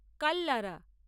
Kallara